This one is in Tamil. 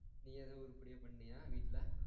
நீ எதும் உருப்படியா பண்ணியா வீட்டுல